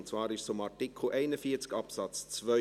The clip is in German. Und zwar ging es dabei um Artikel 41 Absatz 2.